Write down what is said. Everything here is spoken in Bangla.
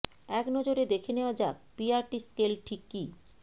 এক নজরে দেখে নেওয়া যাক পিআরটি স্কেল ঠিক কী